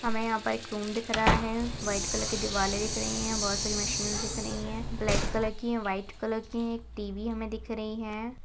हमें यहाँ पर एक रूम दिख रहा है वाइट कलर की दीवाले दिख रही है बहुत सारी मशीन्स दिख रही है ब्लैक कलर की वाइट कलर की एक टी_वी हमें दिख रही हैं।